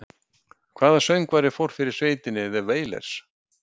Hvaða söngvari fór fyrir sveitinni The Wailers?